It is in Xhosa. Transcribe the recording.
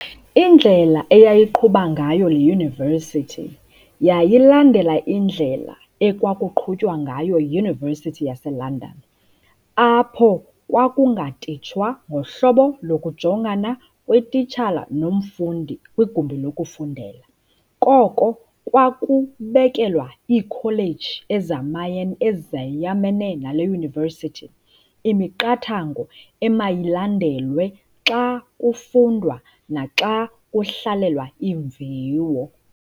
Indlela eyayiqhuba ngayo le university yayilandela indlela ekwakuqhutywa ngayo yi-University yaseLondon, apho kwakungatitshwa ngohlobo lokujongana kwetitshala nomfundi kwigumbi lokufundela. Koko kwakubekelwa iikholeji ezayamene nale university, imiqathango emayilandelwe xa kufundwa naxa kuhlalelwa iimviwo.